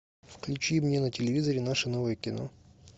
включи мне на телевизоре наше новое кино